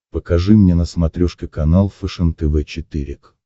покажи мне на смотрешке канал фэшен тв четыре к